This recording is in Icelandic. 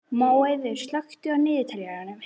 Móeiður, slökktu á niðurteljaranum.